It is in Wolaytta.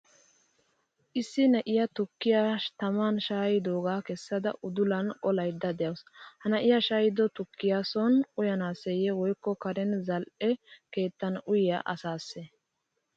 Issi na'iyaa tukkiyaa taman shayidoga kessada udulan qolayda deawusu. Ha na'iyaa shayido tukkiua sooni uyanaseye wykko karen zal'e keettan uyiya asase?